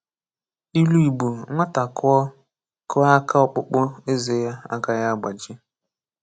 Ilu Igbo Nwata kụọ kụọ aka ọkpụkpụ eze ya agaghị agbaji.